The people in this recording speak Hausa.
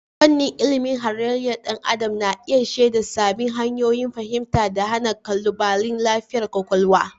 Fannin ilimin halayyar ɗan adam na iya shaida sabbin hanyoyin fahimtar da hana ƙalubalen lafiyar kwakwalwa.